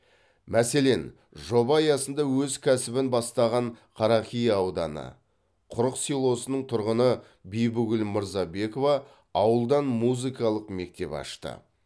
мәселен жоба аясында өз кәсібін бастаған қарақия ауданы құрық селосының тұрғыны бибігүл мырзабекова ауылдан музыкалық мектеп ашты